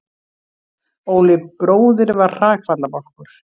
Óli bróðir var hrakfallabálkur.